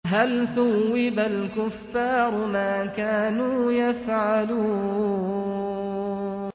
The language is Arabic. هَلْ ثُوِّبَ الْكُفَّارُ مَا كَانُوا يَفْعَلُونَ